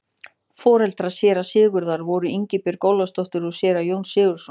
foreldrar séra sigurðar voru ingibjörg ólafsdóttir og séra jón sigurðsson